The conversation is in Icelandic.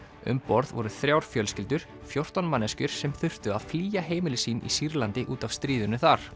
um borð voru þrjár fjölskyldur fjórtán manneskjur sem þurftu að flýja heimili sín í Sýrlandi út af stríðinu þar